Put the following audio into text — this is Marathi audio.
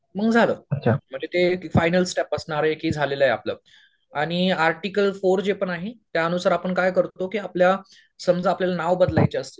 मग झालं म्हणजे ते फायनल्स स्टेप असणार आहे की झालेलं आहे आपलं. आणि आर्टिकल फोर जे पण आहे त्यानुसार आपण काय करतो की आपल्या समजा आपल्याला नाव बदलायचे आहेत